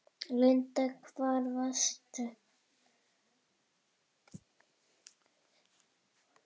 Linda: Hvar varstu?